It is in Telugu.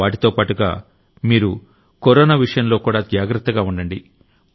వాటితోపాటుగా మీరు కరోనా విషయంలో కూడా జాగ్రత్తగా ఉండాలి